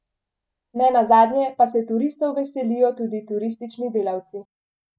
Nenazadnje pa se turistov veselijo tudi turistični delavci.